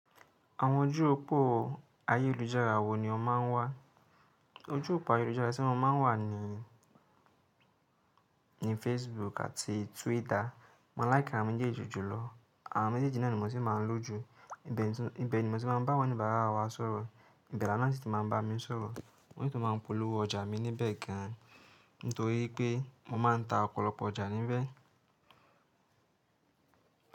Àwọn ojú òpó ayélujára wo ni o máa ń wà? Ojú òpó ayélujára tí mo máa ń wà ni, ni Facebook àti Twitter. Mo láìkì àwọn méjèèjì jùlọ. Àwọn méjèjì náà ni mo si n máa ń lo jù. Ibẹ̀ ni mo ti máa ń bá àwọn ọ̀nìbàárà wa sọ̀rọ̀. Ibẹ̀ làwon na sí ti máa ń bá mi sọ̀rọ̀. Mo si tun máa ń polówó ọjà mi níbẹ̀ gan an. Nítorí pé mo máa ń ta ọ̀pọ̀lọpọ̀ ọjà níbẹ̀.